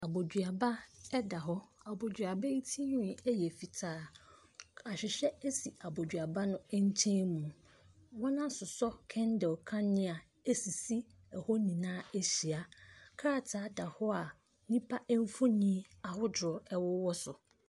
Aboduaba da hɔ. Aboduaba yi ti nwi yɛ fitaa. Ahwehwɛ si aboduaba no nkyɛnmu. Wɔasosɔ kandle nanea asisi hɔ nyinaa ahyia. Krataa da hɔ a nnipa mfoni ahodoɔ wɔ so.